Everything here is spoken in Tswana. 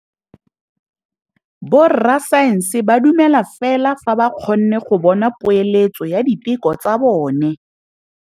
Borra saense ba dumela fela fa ba kgonne go bona poeletsô ya diteko tsa bone.